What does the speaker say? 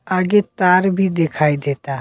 आगे तार भी दिखाई देता।